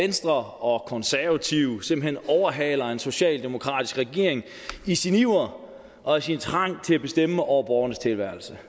venstre og konservative simpelt hen overhaler en socialdemokratisk regering i sin iver og sin trang til at bestemme over borgernes tilværelse